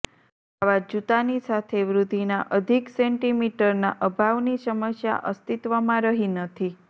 આવા જૂતાની સાથે વૃદ્ધિના અધિક સેન્ટીમીટરના અભાવની સમસ્યા અસ્તિત્વમાં રહી નથી